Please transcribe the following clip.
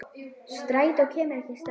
Strætó kemur ekki strax.